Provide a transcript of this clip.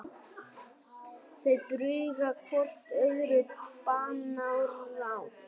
Þau brugga hvort öðru banaráð.